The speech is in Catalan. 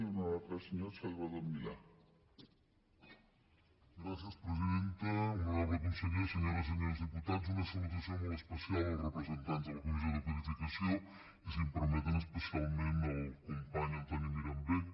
honorable conseller senyores i senyors diputats una salutació molt especial als representants de la comissió de codificació i si m’ho permeten especialment al company antoni mirambell